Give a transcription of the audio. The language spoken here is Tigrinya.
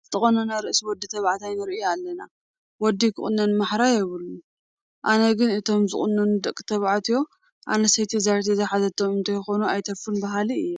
ዝተቖነነ ርእሲ ወዲ ተባዕታይ ንርኢ ኣለና፡፡ ወዲ ክቑነን ማሕራ የብሉን፡፡ ኣነ ግን እቶም ዝቑነኑ ደቂ ተባዕትዮ ኣነስተይቲ ዛር ዝሓዘቶም እንተይኮኑ ኣይተርፉን በሃሊ እየ፡፡